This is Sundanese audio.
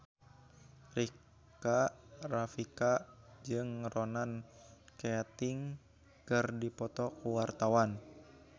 Rika Rafika jeung Ronan Keating keur dipoto ku wartawan